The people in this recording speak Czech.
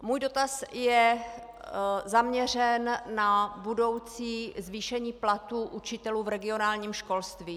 Můj dotaz je zaměřen na budoucí zvýšení platů učitelů v regionálním školství.